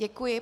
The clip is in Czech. Děkuji.